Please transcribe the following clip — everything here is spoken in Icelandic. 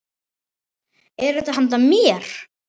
Er þetta handa mér?!